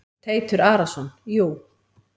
Teitur Arason: Jú.